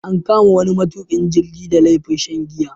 An kama wani matukin jirgi da laifin shan giya.